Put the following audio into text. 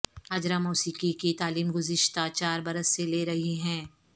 ہاجرہ موسیقی کی تعلیم گذشتہ چار برس سے لے رہی ہیں